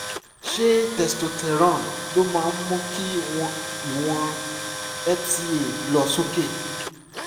ṣé testosterone ló máa mú kí ìwọ̀n psa lọ sókè?